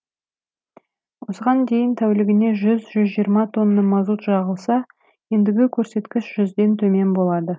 осыған дейін тәулігіне жүз жүз жиырма тонна мазут жағылса ендігі көрсеткіш жүзден төмен болады